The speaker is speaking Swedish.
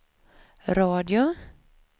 radio